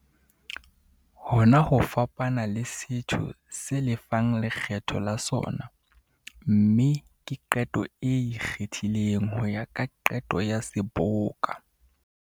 Hona ho fapana le setho se lefang lekgetho la sona, mme ke qeto e ikgethileng ho ya ka qeto ya Seboka.